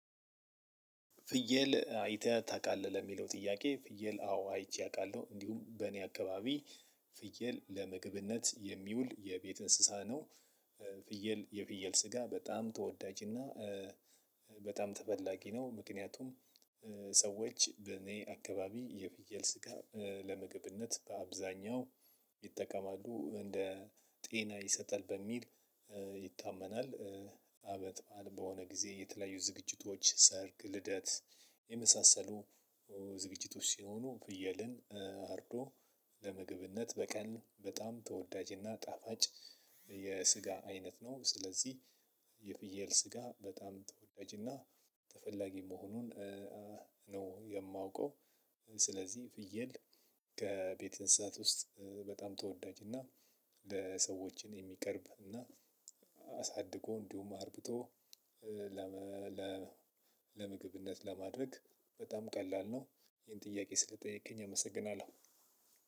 ፍየል አይተህ ታውቃለህ ለሚለው ጥያቄ ፍየል አዎ አይቼ አውቃለሁ እንዲሁም በእኔ አካባቢ ፍየል ለመግብነት የሚውል የቤት እንስሳ ነው። ፍየል የፍየል ስጋ በጣም ተወዳጅ እና። በጣም ተፈላጊ ነው ምክንያቱም። ሰዎች በእኔ አካባቢ የፍየል ስጋ ለምግብነት በአብዛኛው ይጠቀማሉ እንደ ጤና ይሰጣል በሚል ይታመናል። አበት በዓል በሆነ ጊዜ የተለያዩ ዝግጅቶች ሰርግ ልደት የመሳሰሉ። ዝግጅቶች ሲሆኑ ፍየልን አርዶ ለምግብነት በቀል በጣም ተወዳጅና ጣፋጭ የስጋ አይነት ነው። ስለዚህ የፍየል ስጋ በጣም ተወዳጅና ተፈላጊ መሆኑን ነው የማውቀው። ስለዚህ ፍየል ከቤተ እንስሳት ውስጥ በጣም ተወዳጅና ለሰዎችን የሚቀርብ እና አሳድጎ እንዲሁም አርብቶ። ለምግብነት ለማድረግ በጣም ቀላል ነው። ይሄን ጥያቄ ስለጠየቀኝ አመሰግናለሁ።